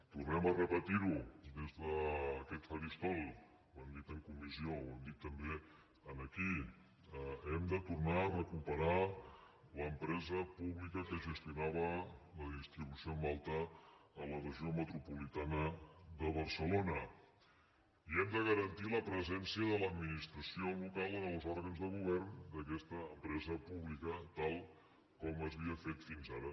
tornem a repetir ho des d’aquest faristol ho hem dit en comissió ho hem dit també aquí hem de tornar a recuperar l’empresa pública que gestionava la distribució en alta a la regió metropolitana de barcelona i hem de garantir la presència de l’administració local en els òrgans de govern d’aquesta empresa pública tal com s’havia fet fins ara